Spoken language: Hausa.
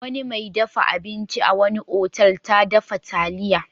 Wani mai dafa abinci a wani otal ta dafa taliya.